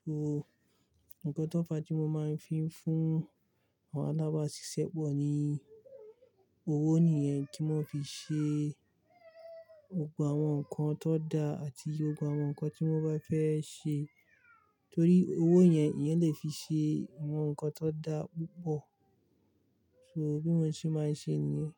So nǹkan tó fa tí mo máa ń fi ń fún àwọn alábasisẹ́ pọ̀ ní owó nìyẹn tí wọ́n fi ṣe gbogbo àwọn nǹkan tan da àti gbogbo àwọn nǹkan tí wọ́n bá fẹ́ ṣe torí owó yẹn ẹeyan lè fi ṣe àwọn nǹkan tan da púpọ̀. So bí mo ṣe máa ń ṣe nìyẹn.